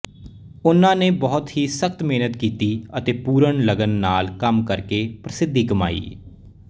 ਉਸ ਨੇ ਬਹੁਤ ਹੀ ਸਖ਼ਤ ਮਿਹਨਤ ਕੀਤੀ ਅਤੇ ਪੂਰਨ ਲਗਨ ਨਾਲ ਕੰਮ ਕਰਕੇ ਪ੍ਰਸਿੱਧੀ ਕਮਾਈ